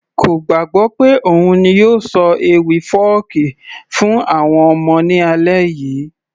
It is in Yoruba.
kò gbàgbọ́ pé òun ni yóò ṣọ ewì fọ́ọ̀kí fún àwọn ọmọ ní alẹ́ yìí